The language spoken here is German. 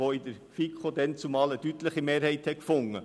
Er fand in der FiKo deutlichen Anklang.